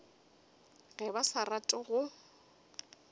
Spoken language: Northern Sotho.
ge ba sa rate go